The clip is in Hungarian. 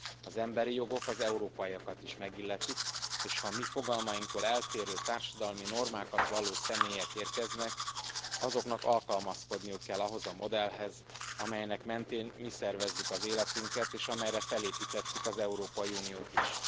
Az emberi jogok az európaiakat is megilletik, és ha a mi fogalmainktól eltérő társadalmi normákat valló személyek érkeznek, azoknak alkalmazkodniuk kell ahhoz a modellhez, amelynek mentén mi szervezzük az életünket, és amelyre felépítettük az Európai Uniót is.